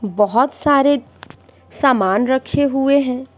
बहुत सारे सामान रखे हुए हैं।